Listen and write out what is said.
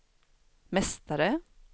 mästare